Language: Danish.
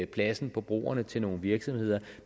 pladsen på broerne til nogle virksomheder